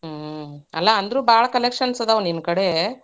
ಹ್ಮ್. ಅಲ್ಲಾ ಅಂದ್ರೂ ಭಾಳ್ collections ಅದಾವ್ ನಿನ್ ಕಡೆ.